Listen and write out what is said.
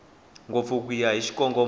ngopfu ku ya hi xikongomelo